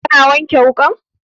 Ka na wanke wukan?